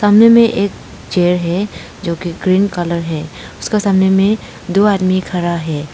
सामने में एक चेयर है जो कि ग्रीन कलर है उसके सामने में दो आदमी खड़ा हैं।